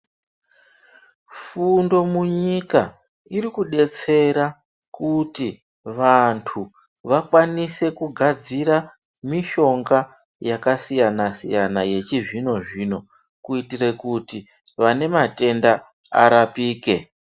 Fundo munyika iri kudetsera kuti vantu vakwanise kugadzira mishonga yakasiyana siyana yechizvino zvino kuitire kuti vane matenda arapike.